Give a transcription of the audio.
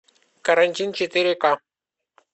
карантин четыре ка